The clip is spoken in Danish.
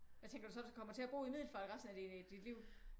Hvad tænker du så kommer du til at bo i Middelfart resten af dit liv?